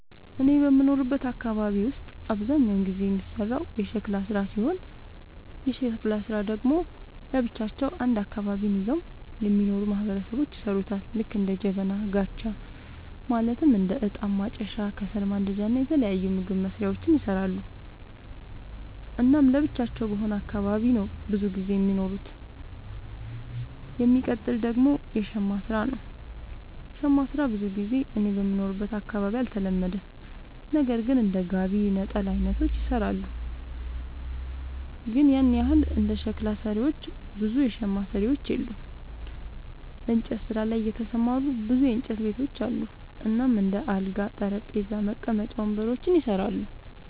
እኔ በምኖርበት አካባቢ ውስጥ አብዛኛውን ጊዜ የሚሰራው የሸክላ ስራ ሲሆን የሸክላ ስራ ደግሞ ለብቻቸው አንድ አካባቢን ይዘው የሚኖሩ ማህበረሰቦች ይሠሩታል ልክ እንደ ጀበና፣ ጋቻ ማለትም እንደ እጣን ማጨሻ፣ ከሰል ማንዳጃ እና የተለያዩ ምግብ መስሪያዎችን ይሰራሉ። እናም ለብቻቸው በሆነ አካባቢ ነው ብዙም ጊዜ የሚኖሩት። የሚቀጥል ደግሞ የሸማ ስራ ነው, ሸማ ስራ ብዙ ጊዜ እኔ በምኖርበት አካባቢ አልተለመደም ነገር ግን እንደ ጋቢ፣ ነጠላ አይነቶችን ይሰራሉ አለ ግን ያን ያህል እንደ ሸክላ ሰሪዎች ብዙ የሸማ ሰሪዎች የሉም። እንጨት ስራ ላይ የተሰማሩ ብዙ የእንጨት ቤቶች አሉ እናም እንደ አልጋ፣ ጠረጴዛ፣ መቀመጫ ወንበሮችን ይሰራሉ።